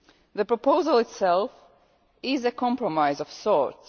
The proposal itself is a compromise of sorts.